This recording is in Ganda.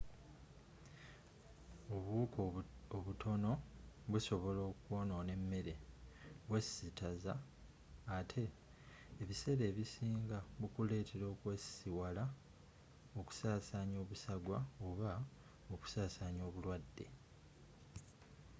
obuwuka obutono busobola okwonona emmere bwesittaza ate ebiseera ebisinga bukuleetera okwesisiwala okusaasanya obusagwa oba okusaasanya obulwadde